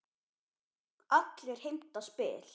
Allir heimta spil.